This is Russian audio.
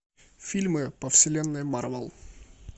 фильмы по вселенной марвел